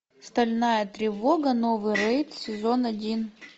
стальная тревога новый рейд сезон один